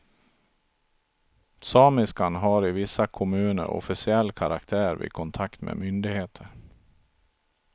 Samiskan har i vissa kommuner officiell karaktär vid kontakt med myndigheter.